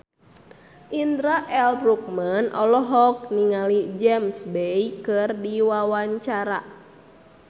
Indra L. Bruggman olohok ningali James Bay keur diwawancara